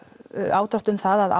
ádrátt um það að